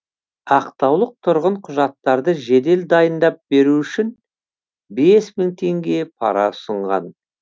ақтаулық тұрғын құжаттарды жедел дайындап беру үшін бес мың теңге пара ұсынған